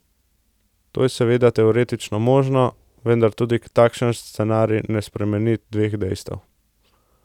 To je seveda teoretično možno, vendar tudi takšen scenarij ne spremeni dveh dejstev.